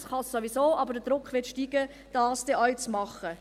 das kann es sowieso, aber der Druck wird steigen, dies dann auch zu tun.